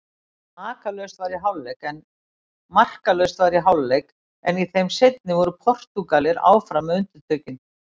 Markalaust var í hálfleik en í þeim seinni voru Portúgalar áfram með undirtökin.